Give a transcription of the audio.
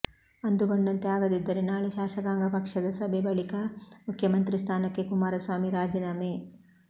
ಅಂದುಕೊಂಡಂತೆ ಆಗದಿದ್ದರೆ ನಾಳೆ ಶಾಸಕಾಂಗ ಪಕ್ಷದ ಸಭೆ ಬಳಿಕ ಮುಖ್ಯಮಂತ್ರಿ ಸ್ಥಾನಕ್ಕೆ ಕುಮಾರಸ್ವಾಮಿ ರಾಜೀನಾಮೆ